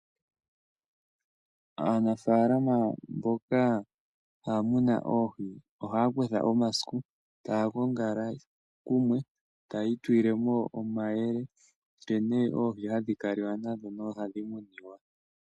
Aanafaalama mboka haa muna oohi ohaa kutha omasiku taya gongala kumwe taya itulile mo omayele nkene oohi hadhi kaliwa nadho noha dhi muniwa.